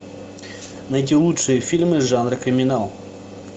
найти лучшие фильмы жанра криминал